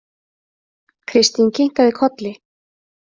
Kristín kinkaði kolli.